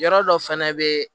Yɔrɔ dɔ fɛnɛ be